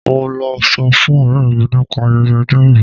Mo lọ sọ fún ọ̀rẹ́ mi nípa ayẹyẹ ọjọ ìbí.